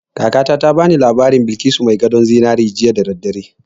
Kakata ta ba ni labarin Balkisu mai gadon zinari jiya da daddare